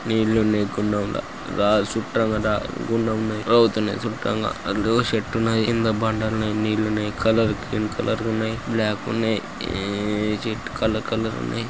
నీళ్లు ఉన్నాయి. గుండంలా చూట్టంబాట గుండం ఉన్నది రావ్తు వున్నది చూట్టంగా చెట్టు ఉన్నది కింద బండలు ఉన్నాయి. నీళ్లు ఉన్నాయి. కలర్ గ్రీన్ కలర్ ఉన్నాయి .బ్లాక్ ఉన్నాయి. ఈ చెట్లు కలర్ కలర్ ఉన్నాయి.